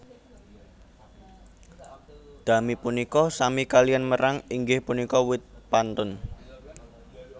Dami punika sami kaliyan merang inggih punika wit pantun